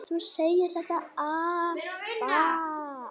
Þú segir þetta alltaf!